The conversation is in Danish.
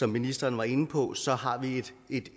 ministeren var inde på så har vi